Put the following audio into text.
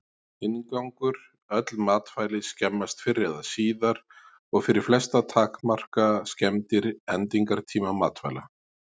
Inngangur Öll matvæli skemmast fyrr eða síðar og fyrir flesta takmarka skemmdir endingartíma matvæla.